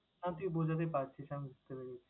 না তুই বুঝাতে পারছিস। আমি বুঝতে পেরেছি।